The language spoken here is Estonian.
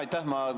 Aitäh!